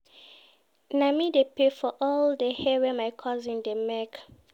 Na me dey pay for all di hair wey my cousins dey make.